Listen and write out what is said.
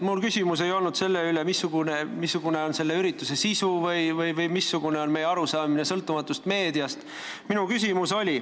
Mu küsimus ei olnud selle kohta, missugune oli selle ürituse sisu või missugune on meie arusaamine sõltumatust meediast.